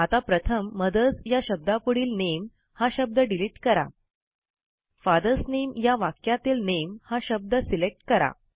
आता प्रथम मदर्स या शब्दापुढील नामे हा शब्द डिलिट करा फादर्स नामे या वाक्यातील नामे हा शब्द सिलेक्ट करा